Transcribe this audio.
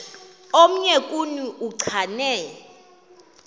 omnye kuni uchane